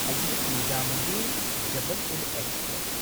Hazrat Nizamuddin Jabalpur express